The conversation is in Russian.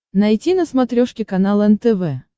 найти на смотрешке канал нтв